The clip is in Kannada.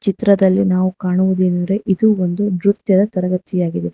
ಚಿತ್ರದಲ್ಲಿ ನಾವು ಕಾಣುವುದೇನೆಂದರೆ ಇದು ಒಂದು ನೃತ್ಯದ ತರಗತಿಯಾಗಿದೆ.